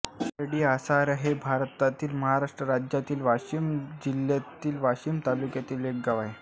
पारडीआसरा हे भारतातील महाराष्ट्र राज्यातील वाशिम जिल्ह्यातील वाशीम तालुक्यातील एक गाव आहे